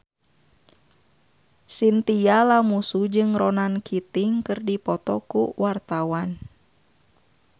Chintya Lamusu jeung Ronan Keating keur dipoto ku wartawan